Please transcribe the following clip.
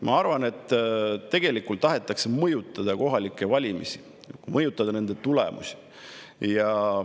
Ma arvan, et tegelikult tahetakse mõjutada kohalikke valimisi, mõjutada nende tulemusi.